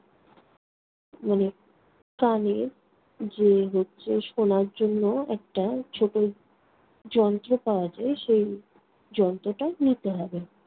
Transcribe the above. মানে কানের যে হচ্ছে শোনার জন্য একটা ছোট যন্ত্র পাওয়া যায়, সেই যন্ত্রটাও নিতে হবে।